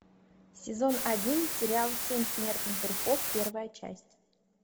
сезон один сериал семь смертных грехов первая часть